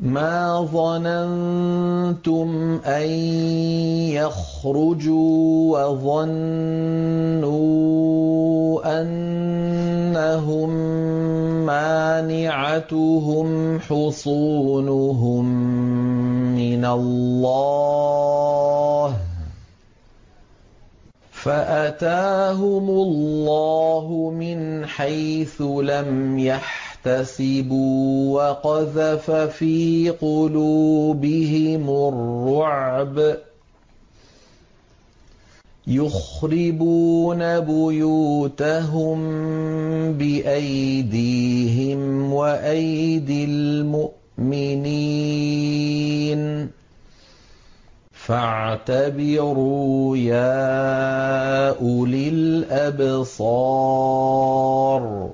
مَا ظَنَنتُمْ أَن يَخْرُجُوا ۖ وَظَنُّوا أَنَّهُم مَّانِعَتُهُمْ حُصُونُهُم مِّنَ اللَّهِ فَأَتَاهُمُ اللَّهُ مِنْ حَيْثُ لَمْ يَحْتَسِبُوا ۖ وَقَذَفَ فِي قُلُوبِهِمُ الرُّعْبَ ۚ يُخْرِبُونَ بُيُوتَهُم بِأَيْدِيهِمْ وَأَيْدِي الْمُؤْمِنِينَ فَاعْتَبِرُوا يَا أُولِي الْأَبْصَارِ